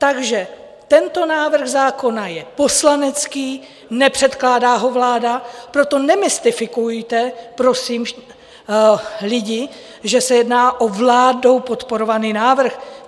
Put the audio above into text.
Takže tento návrh zákona je poslanecký, nepředkládá ho vláda, proto nemystifikujte, prosím, lidi, že se jedná o vládou podporovaný návrh.